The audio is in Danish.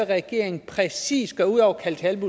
regeringen præcis gøre ud over at indkalde